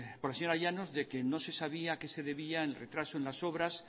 por al señora llanos de que no se sabía a qué se debía el retraso en las obras